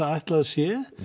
ætla að sé